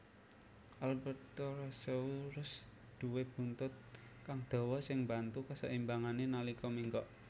Albertosaurus duwé buntut kang dawa sing mbantu kaseimbangané nalika ménggok